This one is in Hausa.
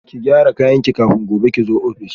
Ki gyara kayanki kafin gobe kizo office